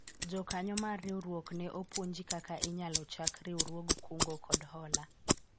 jokanyo mar riwruok ne opuonji kaka inyalo chak riwruog kungo kod hola